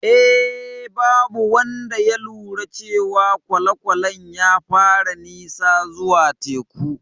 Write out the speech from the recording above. Eh, babu wanda ya lura cewa kwale-kwalen ya fara nisa zuwa teku.